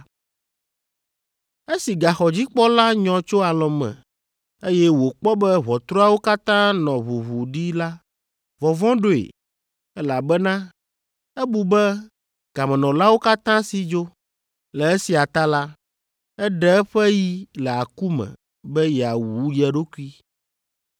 Esi gaxɔdzikpɔla nyɔ tso alɔ̃ me, eye wòkpɔ be ʋɔtruawo katã nɔ ʋuʋu ɖi la, vɔvɔ̃ ɖoe, elabena ebu be gamenɔlawo katã si dzo. Le esia ta la, eɖe eƒe yi le aku me be yeawu ye ɖokui.